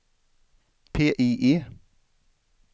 PIE